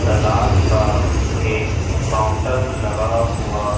सलाद का एक काउंटर लगा हुआ--